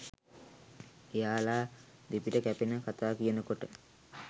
එයාල දෙපිට කැපෙන කතා කියනකොට